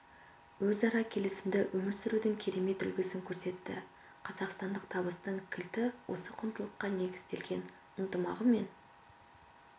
өзара келісімде өмір сүрудің керемет үлгісін көрсетті қазақстандық табыстың кілті осы құндылыққа негізделген ынтымағы мен